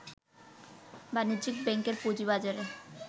বাণিজ্যিক ব্যাংকের পুঁজিবাজারে